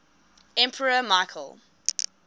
emperor michael